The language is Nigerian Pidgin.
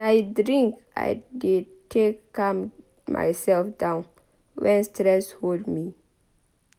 Na drink I dey take calm mysef down wen stress hol me.